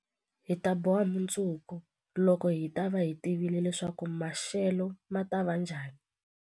Hi ta boha mundzuku, loko hi ta va hi tivile leswaku maxelo ma ta va njhani.